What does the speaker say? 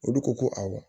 Olu ko ko awɔ